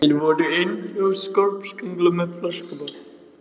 Þið voruð einsog skopparakringlur með flöskubrotin.